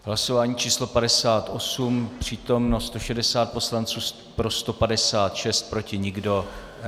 Hlasování číslo 58, přítomno 160 poslanců, pro 156, proti nikdo.